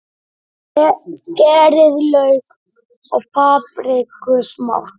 Skerið lauk og papriku smátt.